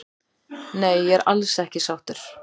Nei ég er alls ekki sáttur